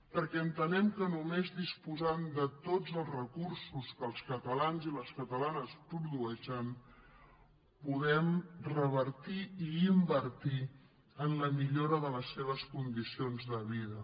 perquè entenem que només disposant de tots els recursos que els catalans i les catalanes produeixen podem revertir i invertir en la millora de les seves condicions de vida